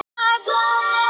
Að tala um dans